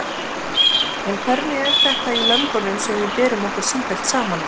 En hvernig er þetta í löndunum sem við berum okkur sífellt saman við?